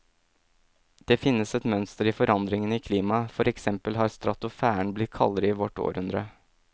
Det finnes et mønster i forandringene i klimaet, for eksempel har stratosfæren blitt kaldere i vårt århundre.